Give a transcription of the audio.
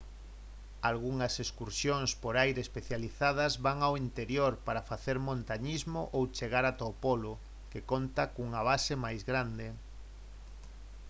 algunhas excursións por aire especializadas van ao interior para facer montañismo ou chegar ata o polo que conta cunha base máis grande